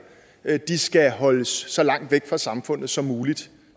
de skal holdes så langt væk fra samfundet som muligt